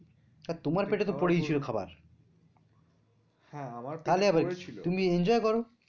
তা তোমার পেটে তো পরেই ছিলো খাবার তাহলে আবার কি তুমি enjoy করো